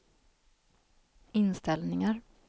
inställningar